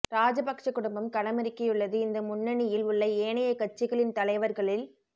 ராஜபக்ஷ குடும்பம் களமிறக்கியுள்ளது இந்த முன்னணி யில் உள்ள ஏனைய கட்சிகளின் தலைவர்களில்